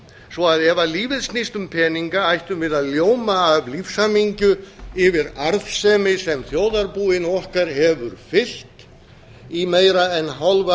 svo að ef lífið snýst um peninga ættum við að ljóma af lífshamingju yfir arðsemi sem þjóðarbúinu okkar hefur fylgt í meira en hálfa